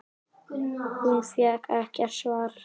Hún fékk ekkert svar.